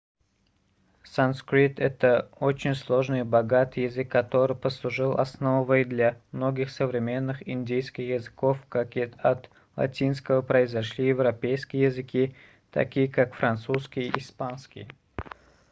санскрит очень сложный и богатый язык который послужил основой для многих современных индийских языков как и от латинского произошли европейские языки такие как французский и испанский